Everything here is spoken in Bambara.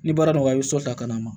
Ni baara nɔgɔya i bɛ sɔ ta ka na